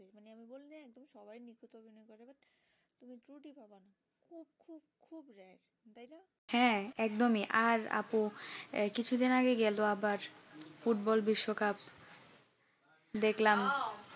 হ্যাঁ একদমই আর আপু কিছুদিন আগে গেল আবার ফুটবল বিশ্বকাপ দেখলাম